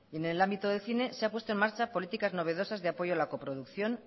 en el ámbito del cine se ha puesto en marcha políticas novedosas e apoyo a la coproducción